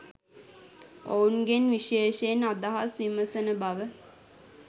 ඔවුන්ගෙන් විශේෂයෙන් අදහස් විමසන බව